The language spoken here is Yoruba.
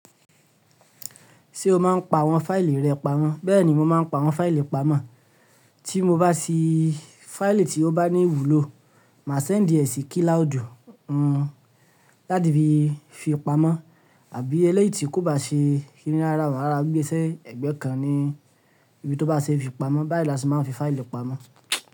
Ṣé o máa ń pa àwọn fáìlì rẹ pamọ́? Bẹ́ẹ̀ ni mo máa ń pa àwọn fáìlì pamọ́. Tí mo bá sí fáìlì tí ó bá ní ìwúlò, màá sẹ́ǹdì ẹ sí kilaudu láti fi pamọ́ àbí ẹleyií tí kò bá ṣe kini rara o, màá rora gbe si ẹ̀gbẹ́ kan ní ibi tó bá ṣe é fi pamọ́. Bayiila ti máa ń fi fáìlì pamọ́.